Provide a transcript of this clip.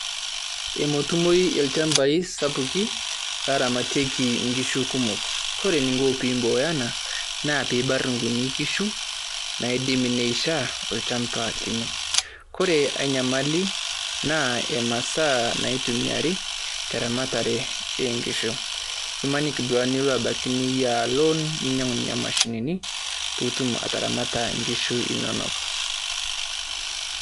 Emetumoi ilchaambai sapuki aramaiteki ng'ishu kumok. Kore ninkoo pimboyana naa pimbaa'ar nkunii ng'ishu naidim neishaa ollchaamba linoo. Kore enyamali naa emasaa naitumiari teramatare eng'ishu. Emaniki nduake linoo abaki niyaa loon ninyang'u nenia mashinini mbuutum ataramatara ng'ishuu enonok.